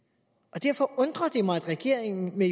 derfor undrer det mig at regeringen med